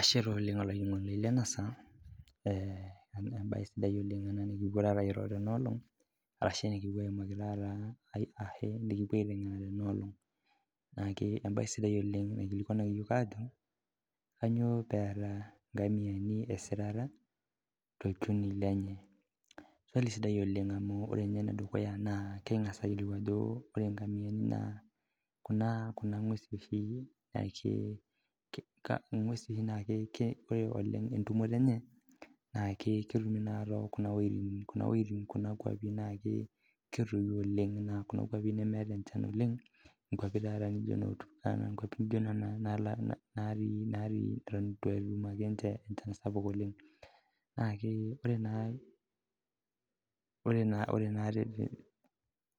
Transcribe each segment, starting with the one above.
Ashe taa oleng olainining'oni Lana saa amu mbae sidai ena oleng nikigira ayimaki Tena olong arashu nikipuo aiteng'ena Tena oleng naa mbae sidai naikilikuanaki eyiol Ajo kainyio peeta ngamiani esita tolchoni lenye swali sidai amu ore ene dukuya kingas ayiolou Ajo ore ngamiani naa Kuna ng'uesi oshinaa ore entumote enye naa metumi tekuna wuejitin naijio ketoyio oleng naa Kuna kwapie nemeeta enchan oleng nkwapie taata naijio noo Turkana nkwapii naijio Nena natii netum enchan sapuk oleng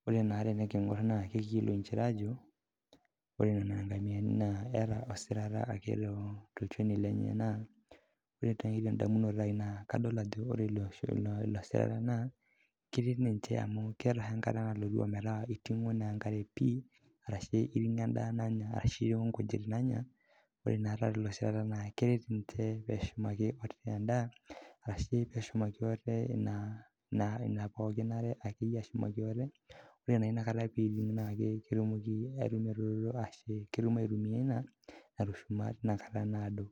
ore naa teniking'or naa ekiyiolou njere Ajo ore ngamiani etaa ake esirata tolchoni lenye naa ore tedamunoto ai naa kadol Ajo ore elo sirita naa ketii ninvhe amu ketii enkata nalotu ometaa iting'oenkare pii arashu eiting'o endaa nanya arashu nkujit naanya ore taata elo sirita naa keret ninche pee eshumaki endaa arashu pee eshumaki ataa ena nare ore naa enakata pee eitig naa ketumoki aitumia ena natushuma teina kataa